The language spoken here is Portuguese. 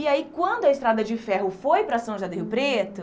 E aí quando a Estrada de Ferro foi para São Jardim do Rio Preto,